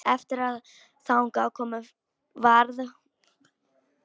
Eftir að þangað kom varð hún aftur ófrísk.